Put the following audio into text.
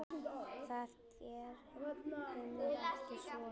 Það gerum við ekki svona.